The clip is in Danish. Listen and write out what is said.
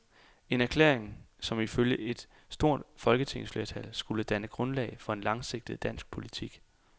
En erklæring, som i følge et stort folketingsflertal skulle danne grundlag for en langsigtet dansk politik.